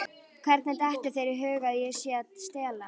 Hvernig dettur þér í hug að ég sé að stela?